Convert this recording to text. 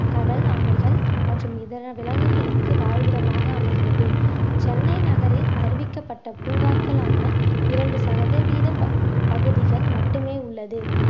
கடல் ஆமைகள் மற்றும் இதர விலங்குகளுக்கு வாழ்விடமாக அமைகிறது சென்னை நகரில் அறிவிக்கப்பட்ட பூங்காக்களான இரண்டு சதவீத ப~ பகுதிகள் மட்டுமே உள்ளது